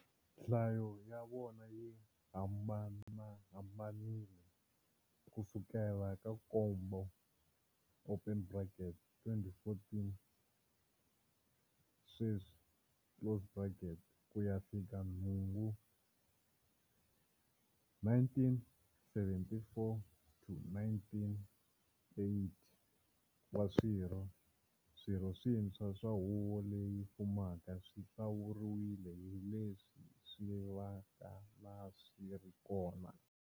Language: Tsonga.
Hlayo ya vona yi hambanahambanilie, ku sukela ka nkombo, 2014-sweswi, ku ya nhungu, 1974-1980, wa swirho. Swirho swintshwa swa Huvo Leyi Fumaka swi hlawuriwa hi leswi swi vaka na swi ri kona.